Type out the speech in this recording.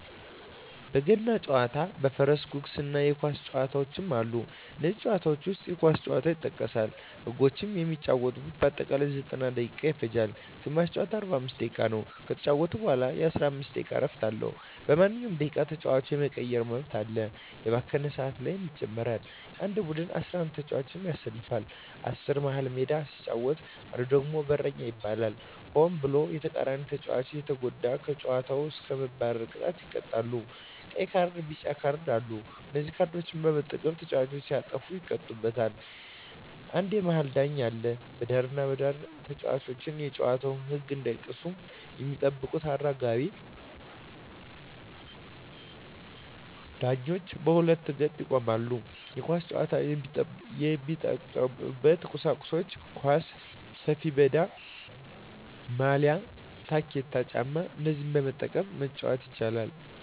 በገና ጨዋታ በፈረስ ጉግስ እና የኳስ ጨዋታ አሉ ከነዚህም ጨዋታዎች ዉስጥ የኳስ ጨዋታ ይጠቀሳል ህጎችም የሚጫወቱበት በአጠቃላይ 90ደቂቃ ይፈጃል ግማሽ ጨዋታ 45 ደቂቃ ነዉ ከተጫወቱ በኋላ የ15 ደቂቃ እረፍት አለዉ በማንኛዉም ደቂቃ ተጫዋች የመቀየር መብት አለ የባከነ ሰአት ካለ ይጨመራል አንድ ቡድን 11ተጫዋቾችን ያሰልፋል አስሩ መሀል ሜዳ ሲጫወት አንዱ ደግሞ በረኛ ይባላል ሆን ብሎ የተቃራኒተጫዋቾችን ከተጎዳ ከጨዋታዉ እስከ መባረር ቅጣት ይቀጣሉ ቀይ ካርድና ቢጫ ካርድ አሉ በነዚህ ካርዶች በመጠቀም ተጫዋቾች ሲያጠፉ ይቀጡበታል አንድ የመሀል ዳኛ አለ በዳርና በዳር ተጫዋቾች የጨዋታዉን ህግ እንዳይጥሱ የሚጠብቁ አራጋቢ ዳኞች በሁለት ገጥ ይቆማሉ የኳስ ጫዋች የሚጠቀሙበት ቁሳቁሶች ኳስ፣ ሰፊሜዳ፣ ማልያ፣ ታኬታ ጫማ እነዚህን በመጠቀም መጫወት ይቻላል